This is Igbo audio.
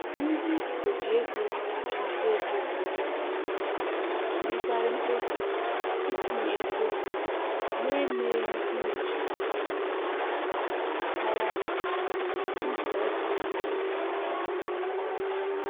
Ndị oji ego achụnta ego ụfọdụ na-emekarị mkpebi itinye ego na-emeghị nnyocha maka gbasara n*họrọ dị n'azụmahịa ahụ nke ọma